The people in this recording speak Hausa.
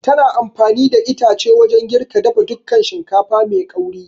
Tana amfani da itace wajan girka dafa dukan shinkafa mai ƙauri